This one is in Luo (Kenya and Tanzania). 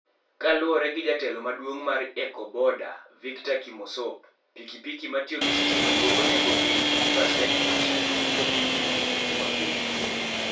Kaluwore gi jatelo maduong' mar Ecobodaa, Victor Kimosop, pikipiki matiyo gi stima duoko nengo piny gi pasent 90 kopim gi pikipiki mapile.